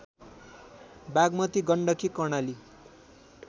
Bagmati Gandaki Karnali